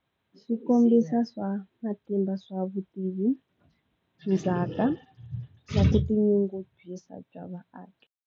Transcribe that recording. Swi kombisa swa matimba swa vutivi swindzhaka ya ku tinyungubyisa bya vaaki.